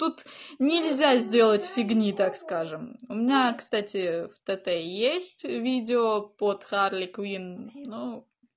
тут нельзя сделать фигни так скажем у меня кстати в тт есть видео под харли куин